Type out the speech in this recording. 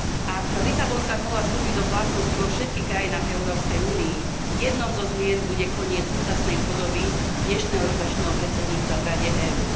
Ak Lisabonská zmluva vstúpi do platnosti vo všetkých štátoch Európskej únie, jednou zo zmien bude koniec súčasnej podoby dnešného rotačného predsedníctva v Rade EÚ.